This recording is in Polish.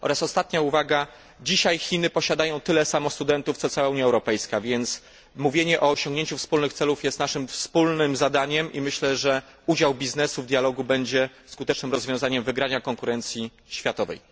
Ostatnia uwaga dzisiaj Chiny posiadają tyle samo studentów ile posiada ich cała Unia Europejska. A więc mówienie o osiągnięciu wspólnych celów jest naszym wspólnym zadaniem i myślę, że udział biznesu w dialogu będzie skutecznym rozwiązaniem wygrania konkurencji światowej.